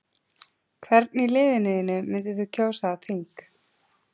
Hvern í liðinu þínu myndir þú kjósa á þing?